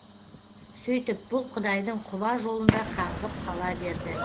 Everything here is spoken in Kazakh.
сөйтіп бұл құдайдың құба жолында қаңғып қала берді